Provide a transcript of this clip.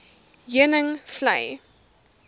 heuningvlei